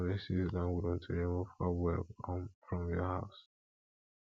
always use long broom to remove cobweb um from your house